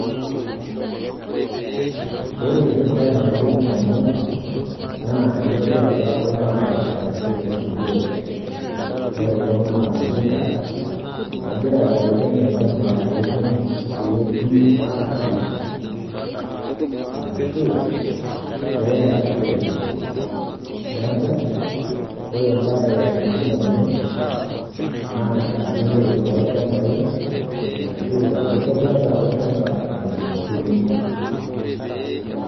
Ore embaye nalotu indamunot naa enkitobirata olchamba arashu enturore. Ore ele naa oltinga ogira aibelekeny olchamba peetumi, peetumi atuun arashu peeasishoreki. Neaku ore embaye nalotu indamunot naa enturore oolchambai ashuu enkitobirata olchamba eton eitu euni.